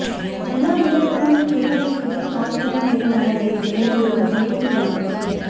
ಎಲ್ಲಾ ವಿಧಾನಗಳು ಕೇವಲ ಶುದ್ಧ ಕಾಲುಗಳ ಮೇಲೆ ಮಾಡಬೇಕು ಎಂಬುದನ್ನು ದಯವಿಟ್ಟು ಗಮನಿಸಿ